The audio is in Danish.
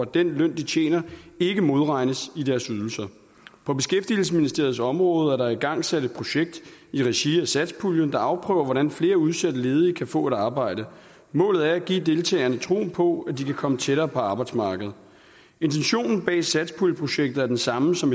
den løn de tjener ikke modregnes i deres ydelser på beskæftigelsesministeriets område er der igangsat et projekt i regi af satspuljen der afprøver hvordan flere udsatte ledige kan få et arbejde målet er at give deltagerne troen på at de kan komme tættere på arbejdsmarkedet intentionen bag satspuljeprojektet er den samme som